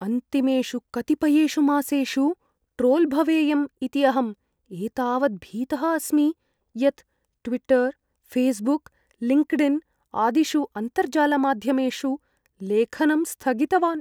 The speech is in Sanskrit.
अन्तिमेषु कतिपयेषु मासेषु ट्रोल् भवेयम् इति अहं एतावत् भीतः अस्मि यत् ट्विट्टर्, फ़ेस्बुक्, लिङ्क्ड्इन् आदिषु अन्तर्जालमाध्यमेषु लेखनं स्थगितवान्।